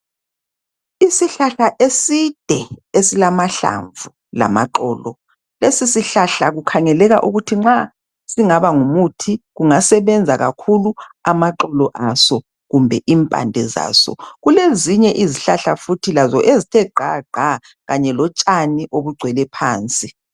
Isihlahla eside esilamahlamvu lamaxolo. Lesi sihlahla sikhangeleka ukuthi nxa singaba ngumuthi singasebenza kakhulu amaxolo aso kumbe impande zaso. Kulezinye izihlahla futhi ezithe gqa gqa kanye lotshani obugcwele phansi.